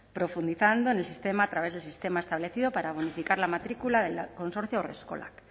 profundizando en el sistema a través del sistema establecido para bonificar la matrícula del consorcio haurreskolak